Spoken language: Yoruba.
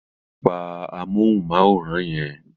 Pa amóhùnmáwòrán yẹn.